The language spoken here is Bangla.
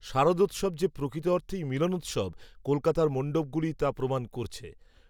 শারদোত্সব যে প্রকৃত অর্থেই মিলনোত্সব, কলকাতার মণ্ডপগুলিই. তা প্রমাণ করছে